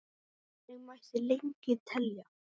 Og þannig mætti lengi telja.